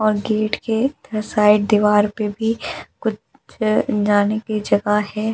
और गेट के इस साइड दीवार पे भी कुछ जाने की जगह है।